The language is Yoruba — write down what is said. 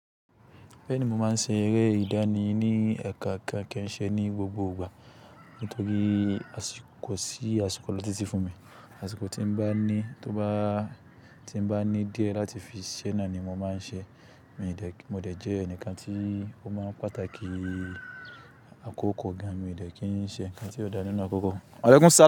Bẹ́ẹ̀ni, mo máa ń ṣe eré ìdání ní eekookan kí n ṣe ní gbogbo ìgbà nítorí asì kò sí àsìkò lọ títí fún mi. Àsìkò tí n bá ní tó bá tí n bá ní díẹ̀ láti fi ṣe náà ni mo máa ń ṣe. Mo de jẹ́ ẹnikan tí ó máa ń pàtàkì àkókò gan. Mi ò de kí n ṣe ǹkan tí ò dá nínú àkókò.